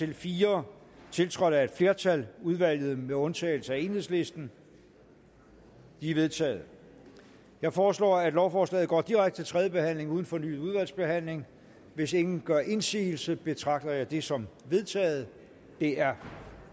en fire tiltrådt af et flertal udvalget med undtagelse af enhedslisten de er vedtaget jeg foreslår at lovforslaget går direkte til tredje behandling uden fornyet udvalgsbehandling hvis ingen gør indsigelse betragter jeg det som vedtaget det er